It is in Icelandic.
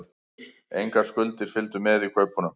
Engar skuldir fylgdu með í kaupunum